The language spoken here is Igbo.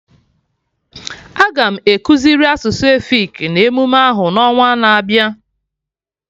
Aga ekuziri asụsụ efik na emume ahụ n'ọnwana-abịa